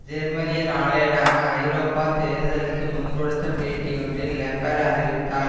ஜெர்மனிய நாளேடான ஐரோப்பிய தேர்தலுக்கு முன்கொடுத்த பேட்டி ஒன்றில் லெப்பர் அறிவித்தார்